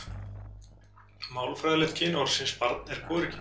Málfræðilegt kyn orðsins barn er hvorugkyn.